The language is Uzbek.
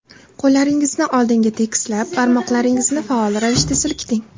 Qo‘llaringizni oldinga tekislab, barmoqlaringizni faol ravishda silkiting.